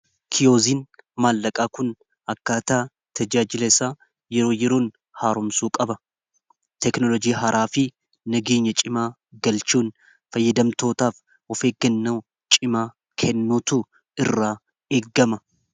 kiyoozin maallaqaa kun akkaataa tajaajilasaa yeroo yeroon haaromsuu qaba teknolojii haraafii nageenya cimaa galchuun fayyadamtootaaf ofeeggannaa cimaa kennuutu irraa eggama